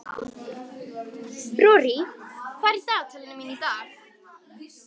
Rorí, hvað er í dagatalinu mínu í dag?